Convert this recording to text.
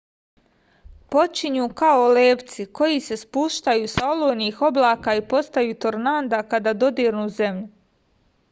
počinju kao levci koji se spuštaju sa olujnih oblaka i postaju tornada kada dodirnu zemlju